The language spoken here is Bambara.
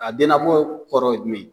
A dennabɔ kɔrɔ ye jumɛn ye